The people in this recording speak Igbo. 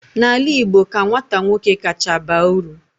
n'ala Igbo ka nwata nwoke kacha baa uru